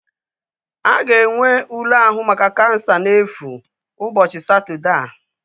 A ga-enwe ule ahụ maka kansa na-efu ụbọchị Satọdee a